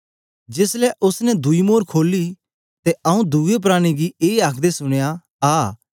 जेस ले उस्स ने दुई मोर खोली ते आऊँ दुए प्राणी गी ए आखदे सुनया आ